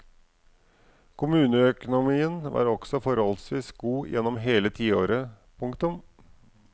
Kommuneøkonomien var også forholdsvis god gjennom hele tiåret. punktum